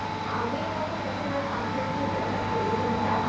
আগের মতন এখন আর আবৃত্তি বলার প্রচলনটা,